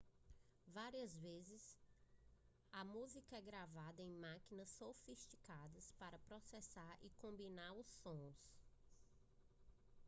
várias vezes a música é gravada em máquinas sofisticadas para processar e combinar sons